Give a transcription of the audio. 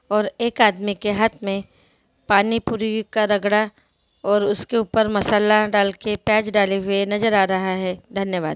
और एक आदमी के हाथ में पानी पूरी का रगरा और उसके ऊपर मसाला डाल के प्याज डालते हुए नजर आ रहा है धन्य-वाद ।